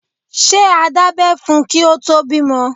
Ṣé a dábẹ́ fún un kí o tó bímọ.